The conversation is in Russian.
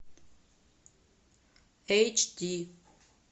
эйч ди